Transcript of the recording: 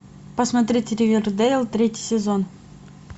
посмотреть ривердейл третий сезон